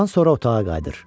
Bundan sonra otağa qayıdır.